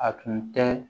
A tun tɛ